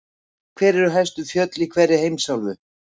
Hver eru hæstu fjöll í hverri heimsálfu?